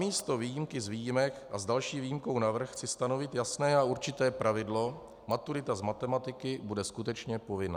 Namísto výjimky z výjimek a s další výjimkou navrch chci stanovit jasné a určité pravidlo: maturita z matematiky bude skutečně povinná.